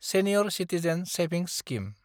senior citizen savings scheme